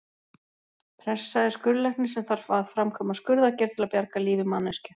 Pressa er skurðlæknir sem þarf að framkvæma skurðaðgerð til að bjarga lífi manneskju.